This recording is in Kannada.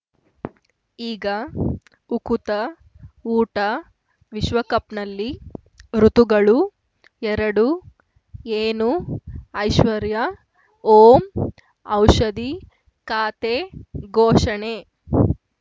ಈಗ ಉಕುತ ಊಟ ವಿಶ್ವಕಪ್‌ನಲ್ಲಿ ಋತುಗಳು ಎರಡು ಏನು ಐಶ್ವರ್ಯಾ ಓಂ ಔಷಧಿ ಖಾತೆ ಘೋಷಣೆ